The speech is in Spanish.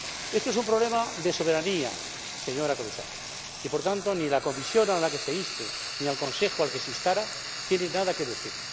Este es un problema de soberanía, señora comisaria, y, por tanto, ni la Comisión a la que se inste ni el Consejo al que se instara tienen nada que decir.